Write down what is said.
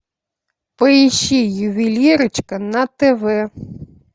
поищи ювелирочка на тв